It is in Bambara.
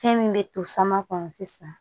Fɛn min bɛ to sama kɔnɔ sisan